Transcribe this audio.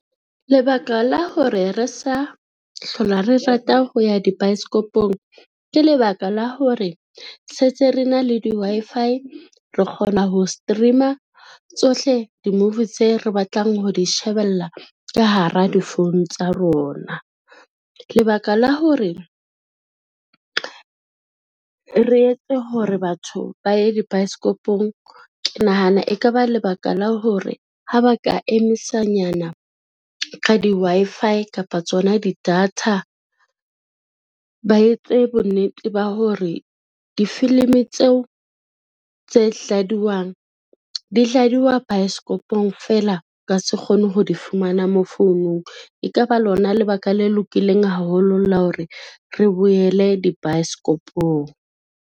Lebaka la hore re sa hlola re rata ho ya dibaesekopong, ke lebaka la hore se ntse re na le di-Wi-Fi re kgona ho stream-a tsohle di-movie tse re batlang ho di shebella ka hara di phone tsa rona. Lebaka la hore re etse hore batho ba ye dibaesekopong, ke nahana e ka ba lebaka la hore ha ba ka emisa nyana ka di-Wi-Fi kapa tsona di-data. Ba etse bonnete ba hore difilimi tseo tse dladiwang di dladiwa baesekopong fela ka se kgone ho di fumana mo founung, e ka ba lona lebaka le lokileng haholo la hore re boele dibaesekopong.